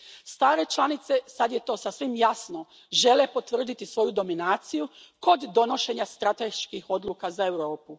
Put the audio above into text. Stare članice, sad je to sasvim jasno, žele potvrditi svoju dominaciju kod donošenja strateških odluka za Europu.